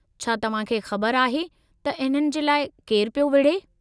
छा तव्हांखे ख़बरु आहे त इन्हनि जे लाइ केरु पियो विढे़?